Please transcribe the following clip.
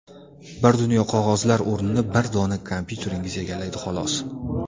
Bir dunyo qog‘ozlar o‘rnini bir dona kompyuteringiz egallaydi xolos.